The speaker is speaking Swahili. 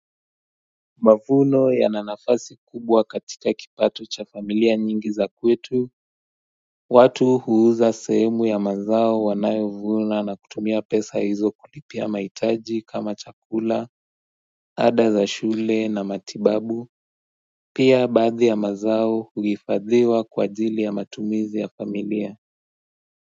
Mavuno ya nanafasi kubwa katika kipato cha familia nyingi za kwetu watu huuza sehemu ya mazao wanayovuna na kutumia pesa hizo kulipia mahitaji kama chakula Ada za shule na matibabu Pia baadhi ya mazao huifadhiwa kwa ajili ya matumizi ya familia.